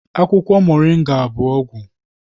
Akwụkwọ Moringa bụ ọgwụ